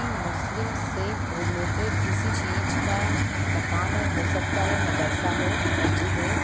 ये मुस्लिम से रिलेटेड किसी चीज का मकान है हो सकता हो मदरसा हो मस्जिद हो ।